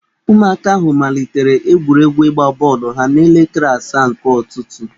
Ụmụaka ahụ malitere egwuregwu ịgba bọọlụ ha n'elekere asaa nke ụtụtụ.